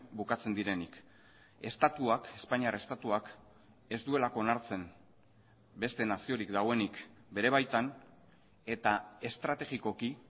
bukatzen direnik estatuak espainiar estatuak ez duelako onartzen beste naziorik dagoenik bere baitan eta estrategikoki